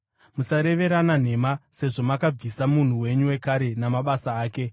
Musareverana nhema, sezvo makabvisa munhu wenyu wekare namabasa ake